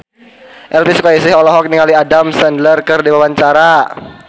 Elvy Sukaesih olohok ningali Adam Sandler keur diwawancara